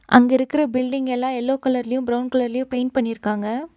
அங்க இருக்கற பில்டிங்யெல்லா எல்லா எல்லோ கலர்லயு பிரவுன் கலர்லயு பெயிண்ட் பண்ணிருக்காங்க.